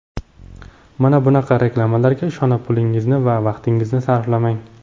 Mana bunaqa reklamalarga ishonib, pulingizni va vaqtingizni sarflamang.